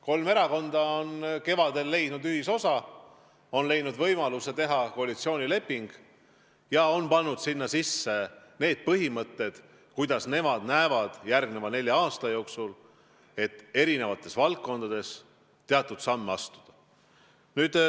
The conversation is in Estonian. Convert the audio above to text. Kolm erakonda on kevadel leidnud ühisosa, on leidnud võimaluse teha koalitsioonileping ja pannud sinna põhimõtted, kuidas nende arvates võiks järgmise nelja aasta jooksul eri valdkondades samme astuda.